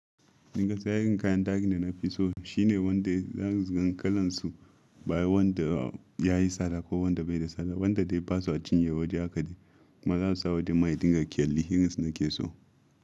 Dinka sayar kayan dark ne na fi so shine wanda zan riƙi kalan su, baya wanda yayi tsada ko wanda bai da tsada. Wanda dai basu a cinye waje haka da marasu saboda maha dinga kyalli hiran su nake so.